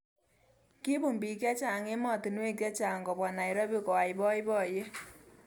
Kibun bik chechang emotonwek chechang kobwa Nairobi koai boiboyet.